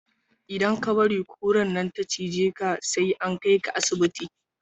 Idan ka bari kurar nan ta cije ka, sai an kai ka asibiti.